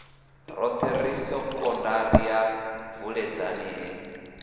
roṱhe sekondari ya vuledzani he